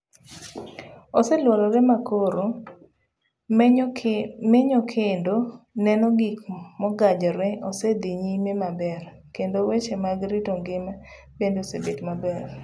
Osee luorre makoro menyo kendo neno gik mogajre osee dhi nyime maber kendo weche mag rito ngima bende obet maber.